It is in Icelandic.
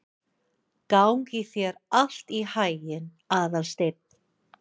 Gangi þér allt í haginn, Aðalsteinn.